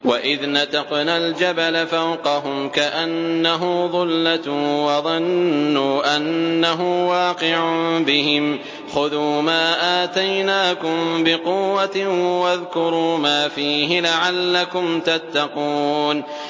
۞ وَإِذْ نَتَقْنَا الْجَبَلَ فَوْقَهُمْ كَأَنَّهُ ظُلَّةٌ وَظَنُّوا أَنَّهُ وَاقِعٌ بِهِمْ خُذُوا مَا آتَيْنَاكُم بِقُوَّةٍ وَاذْكُرُوا مَا فِيهِ لَعَلَّكُمْ تَتَّقُونَ